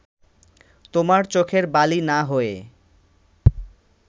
তোমার চোখের বালি না হয়ে